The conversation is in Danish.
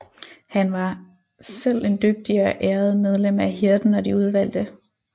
Han var var selv en dygtig og æred medlem af Hirden og de udvalgte